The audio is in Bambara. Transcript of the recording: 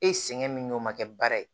E sɛgɛn min n'o ma kɛ baara ye